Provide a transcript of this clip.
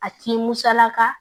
A t'i musalaka